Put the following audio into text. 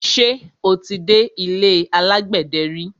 Ṣé o ti dé ilé alágbẹ̀dẹ ri?